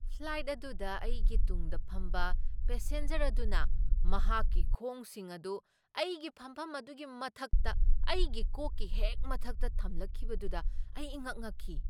Flight ꯑꯗꯨꯗ ꯑꯩꯒꯤ ꯇꯨꯡꯗ ꯐꯝꯕ ꯄꯦꯁꯦꯟꯖꯔ ꯑꯗꯨꯅ ꯃꯍꯥꯛꯀꯤ ꯈꯣꯡꯁꯤꯡ ꯑꯗꯨ ꯑꯩꯒꯤ ꯐꯝꯐꯝ ꯑꯗꯨꯒꯤ ꯃꯊꯛꯇ ꯑꯩꯒꯤ ꯀꯣꯛꯀꯤ ꯍꯦꯛ ꯃꯊꯛꯇ ꯊꯝꯂꯛꯈꯤꯕꯗꯨꯗ ꯑꯩ ꯏꯉꯛ ꯉꯛꯈꯤ꯫